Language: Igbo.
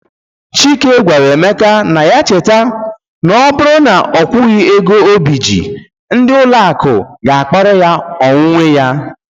Chike gwara Emeka na ya cheta, n'oburu na okwughi ego obije, ndị ụlọaku ga akpara ihe onwunwe ya